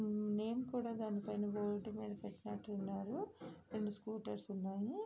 ఊహ్హ్ name కూడా దానిమీద board మీద పెట్టినట్టు ఉన్నారు. రెండు స్కూటర్స్ ఉన్నాయి.